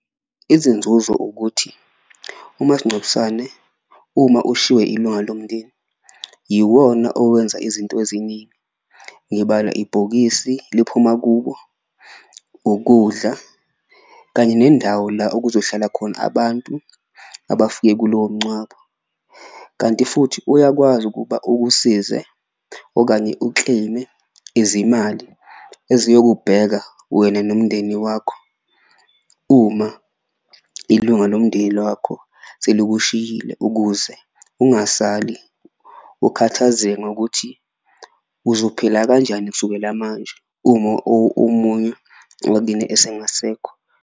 Izinzuzo ukuthi umasincwabisane uma ushiywe ilunga lomndeni yiwona owenza izinto eziningi ngibala ibhokisi liphuma kubo, ukudla kanye nendawo la okuzohlala khona abantu abafike kulowo mncwabo. Kanti futhi uyakwazi ukuba ukusize okanye u-claim-e izimali eziyokubheka wena nomndeni wakho uma ilunga lwakho selikushiyile, ukuze ungasali ukhathazeka ngokuthi uzophila kanjani kusukela manje uma omunye wakini esengasekho.